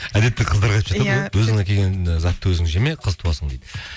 әдетте қыздарға айтып жатады ғой иә өзің әкелген затты өзің жеме қыз туасың дейді